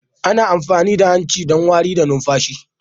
Ana amfani da hanci don wari da numfashi